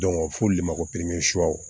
fo olu le ma ko